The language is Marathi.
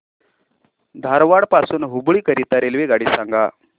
धारवाड पासून हुबळी करीता रेल्वेगाडी सांगा